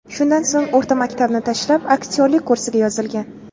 Shundan so‘ng o‘rta maktabni tashlab, aktyorlik kursiga yozilgan.